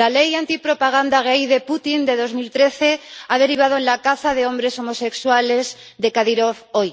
la ley antipropaganda gay de Putin de 2013 ha derivado en la caza de hombres homosexuales de Kadirov hoy.